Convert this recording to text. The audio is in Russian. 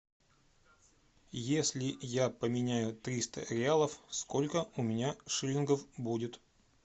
если я поменяю триста реалов сколько у меня шиллингов будет